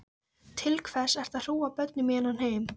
Til hvers ert þú að hrúga börnum í þennan heim?